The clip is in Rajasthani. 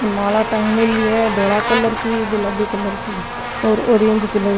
माला टागेड़ी है धोला कलर की गुलाबी कलर की और ऑरेंज कलर की --